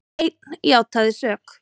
Einn játaði sök